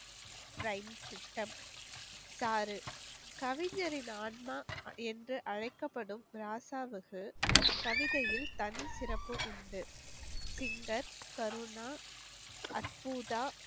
கவிஞரின் ஆன்மா என்று அழைக்கப்படும் ராசாவுக்கு கவிதையில் தனி சிறப்பு உண்டு